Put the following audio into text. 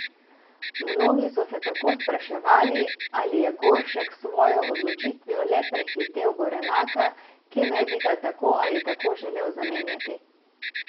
Mnogi so se tako spraševal, ali je Goršek s svojo odločitvijo le prehitel Gorenaka, ki naj bi ga tako ali tako želel zamenjati.